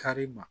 Kari ma